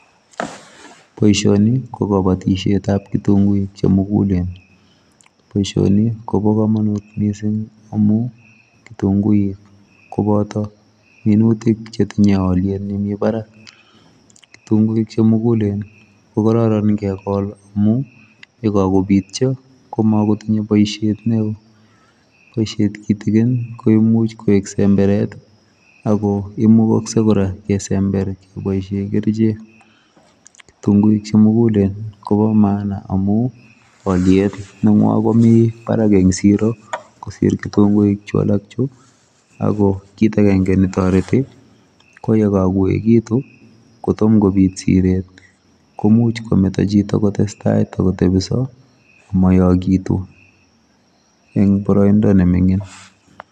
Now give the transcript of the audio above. Boishoni kokabatishet ab kitunguik chemukulen boishoni Kobo kamanut missing amu kitunguik koboto minutuk kotinye aliet nebo Barak kitunguik chemukulen kokororon amunkokakobityo komakotinye boishet neo boishet kitikin komuch koek semberet ak komukaksei kora kesember keboishe kerchek kitunguik chemukulen Kobo maana amu aliet nengw'ang Kobo Barak eng siro kosir kitungui alak ju kit ake netoreti koyekakoikitu kotomo kobit Siret komuch kometo chito kotestai tokopityo amayakitu eng boroindo neming'in